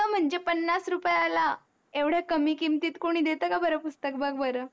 म्हणजे पन्नास रुपयाला एवढ्या कमी किमतीत कोणी देत का बर पुस्तक बघ बर